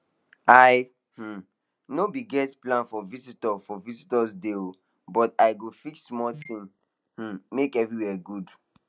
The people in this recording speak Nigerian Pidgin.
i um no been get plan for visitor for visitor today o but i go fix small thing um make everywhere good